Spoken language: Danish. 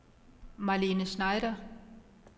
Marlene Schneider